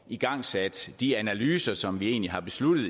igangsat de analyser som vi egentlig har besluttet